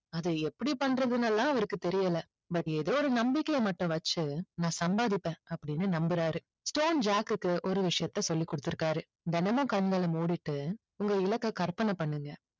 அதை எப்படி பண்றதுன்னு எல்லாம் அவருக்கு தெரியல but ஏதோ ஒரு நம்பிக்கைய மட்டும் வெச்சி நான் சம்பாதிப்பேன் அப்படின்னு நம்பறாரு ஸ்டோன் ஜாக்குக்கு ஒரு விஷயத்தை சொல்லி கொடுத்து இருக்காரு தினமும் கண்களை மூடிட்டு உங்க இலக்கை கற்பனை பண்ணுங்க